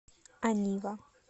анива